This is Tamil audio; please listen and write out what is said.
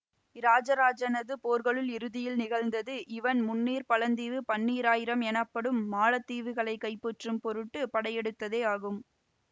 இராஜராஜனது போர்களுள் இறுதியில் நிகழ்ந்தது இவன் முந்நீர்ப்பழந்தீவு பன்னீராயிரம் எனப்படும் மாலத் தீவுகளை கைப்பற்றும் பொருட்டு படையெடுத்ததேயாகும்